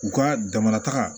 U ka jamana taga